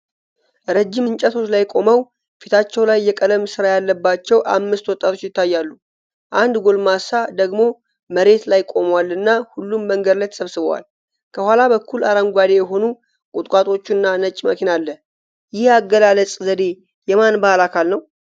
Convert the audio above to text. ረጅም እንጨቶች ላይ ቆመው ፊታቸው ላይ የቀለም ስራ ያለባቸው አምስት ወጣቶች ይታያሉ። አንድ ጎልማሳ ደግሞ መሬት ላይ ቆሟልና ሁሉም መንገድ ላይ ተሰብስበዋል። ከኋላ በኩል አረንጓዴ የሆኑ ቁጥቋጦዎችና ነጭ መኪና አለ። ይህ የአገላለጽ ዘዴ የማን ባህል አካል ነው?